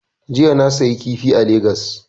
Jiya na siyi kifi a lagas